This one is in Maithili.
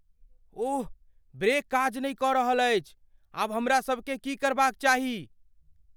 ओह, ब्रेक काज नहि कऽ रहल अछि। आब हमरा सबकेँ की करबाक चाही?